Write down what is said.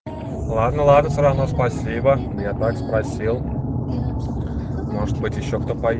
ладно ладно все равно спасибо я так спросил может быть ещё кто по